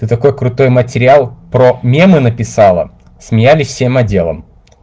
ты такой крутой материал про мемы написала смеялись всем отделам